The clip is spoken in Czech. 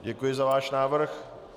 Děkuji za váš návrh.